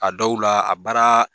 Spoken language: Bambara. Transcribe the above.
A dɔw la a baara